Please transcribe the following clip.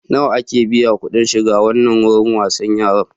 Nawa ake biya kuɗin shiga wannan wurin wasan yaran?